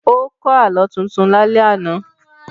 Ó kọ́ Àlọ́ tuntun lálẹ́ àná